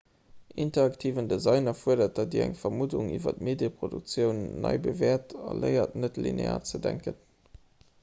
interaktiven design erfuerdert datt dir eng vermuddung iwwer d'medieproduktioun nei bewäert a léiert net-linear ze denken